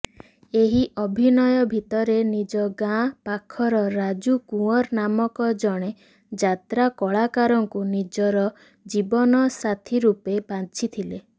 ଏହି ଅଭିନୟ ଭିତରେ ନିଜଗାଁ ପାଖର ରାଜୁ କୁଅଁର ନାମକ ଜଣେ ଯାତ୍ରା କଳାକାରଙ୍କୁ ନିଜର ଜୀବନସାଥୀରୁପେ ବାଛିଥିଲେ